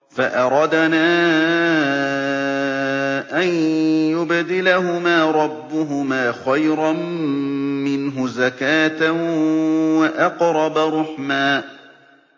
فَأَرَدْنَا أَن يُبْدِلَهُمَا رَبُّهُمَا خَيْرًا مِّنْهُ زَكَاةً وَأَقْرَبَ رُحْمًا